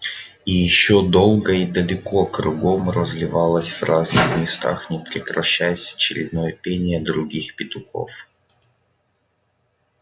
и ещё долго и далеко кругом разливалось в разных местах не прекращаясь очередное пение других петухов